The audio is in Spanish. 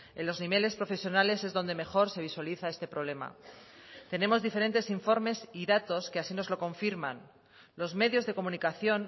en los niveles profesionales es donde mejor se visualiza este problema tenemos diferentes informes y datos que así nos lo confirman los medios de comunicación